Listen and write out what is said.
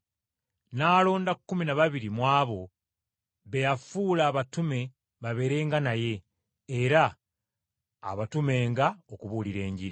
N’alonda kkumi na babiri mu abo, be yafuula abatume babeerenga naye, era abatumenga okubuulira.